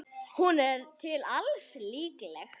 Hún er til alls líkleg.